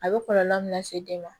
A bɛ kɔlɔlɔ min lase den ma